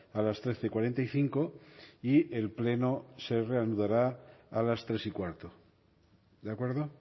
a las trece cuarenta y cinco y el pleno se reanudará a las tres y cuarto de acuerdo